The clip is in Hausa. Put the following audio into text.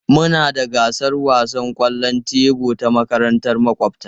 Muna da gasar wasan kwallon tebur da makarantar makwabta.